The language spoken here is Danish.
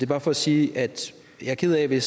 bare for at sige at jeg er ked af det